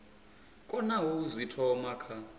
konaho u zwi thoma kha